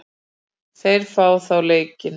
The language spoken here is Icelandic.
Þeir fá þá leiki.